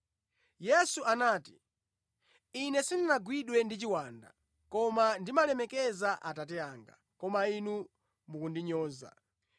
Yesu anati, “Ine sindinagwidwe ndi chiwanda, koma ndimalemekeza Atate anga, koma inu mukundinyoza.